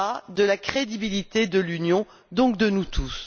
Il en va de la crédibilité de l'Union, donc de nous tous.